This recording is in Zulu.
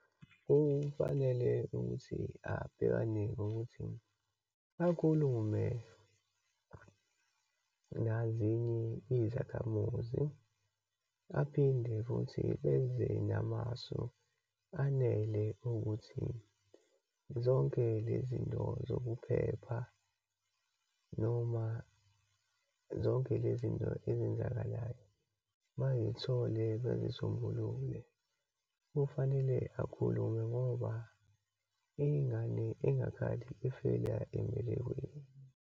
Kufanele ukuthi abhekane nokuthi akhulume nazinye izakhamuzi, aphinde futhi beze namasu anele ukuthi zonke lezinto zokuphepha, noma zonke lezinto ezenzakalayo bayithole bezisombulule. Kufanele bakhulume ngoba ingane engakhali ifela embelekweni.